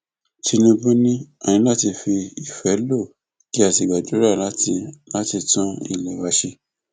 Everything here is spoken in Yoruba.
tinúbú ni a ní láti fi ìfẹ lọ kí a sì gbáradì láti láti tún ilé wa ṣe